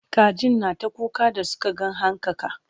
kajin na ta kuka da Suka ga hankaka